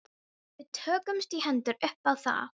Við tókumst í hendur upp á það.